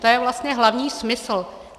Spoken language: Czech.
To je vlastně hlavní smysl.